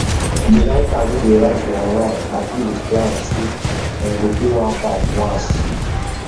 the writer wey dey write for online agree with client say dem go pay am 1500 once